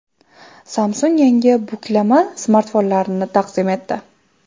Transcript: Samsung yangi buklama smartfonini taqdim etdi.